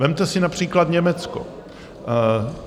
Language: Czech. Vezměte si například Německo.